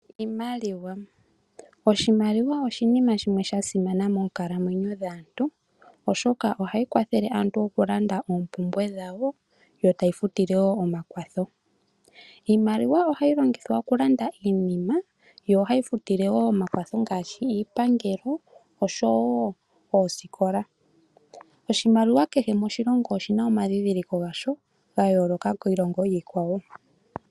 Oshimaliwa oshinima shimwe sha simana moonkalamwenyo dhaantu oshoka ohayi kwathele aantu okulanda oompumbwe dhawo yo tayi futile wo omakwatho . Iimaliwa ohayi longithwa okulanda iinima yo ohayi futile wo omakwatho ngaashi iipangelo noshowo okufuta oskola. Oshimaliwa kehe moshilongo oshi na omandhindhiliko gasho ga yooloka kiilongo kiikwawo.